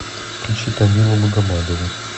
включи тамилу магомадову